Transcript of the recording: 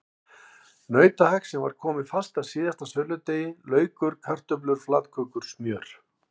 Nautahakk sem var komið fast að síðasta söludegi, laukur, kartöflur, flatkökur, smjör.